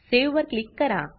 save वर click करा